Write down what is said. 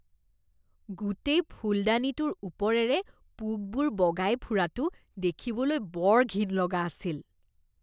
গোটেই ফুলদানিটোৰ ওপৰেৰে পোকবোৰ বগাই ফুৰাটো দেখিবলৈ বৰ ঘিণ লগা আছিল।